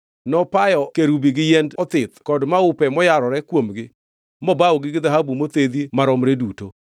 Nopayo kerubi gi yiend othith kod maupe moyarore kuomgi mobawogi gi dhahabu mothedhi maromre duto.